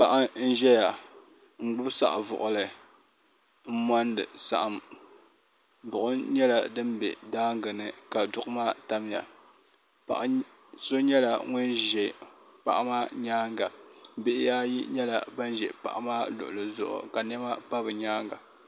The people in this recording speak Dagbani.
Paɣa n zɛya n gbubi saɣim buɣili n mondi saɣim buɣum nyɛla dini bɛ daangi ni ka duɣu maa tamiya paɣa so nyɛla ŋuni zɛ paɣa maa yɛanga bihi ayi nyɛla bani zi paɣa maa luɣuli zuɣu ka niɛma pa bi yɛanga.